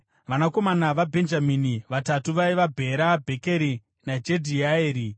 Vanakomana vaBhenjamini vatatu vaiva: Bhera, Bhekeri, naJedhiaeri.